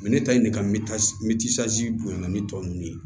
ne ta ye ne ka bonyana ni tɔw ye